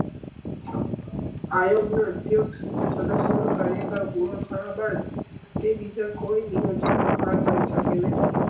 આયોગ ની અધ્યક્ષ કે સદસ્ય નું કાર્યકાળ પૂરો થયા બાદ તે બીજા કોઈ ભાગ લઇ સકે નહી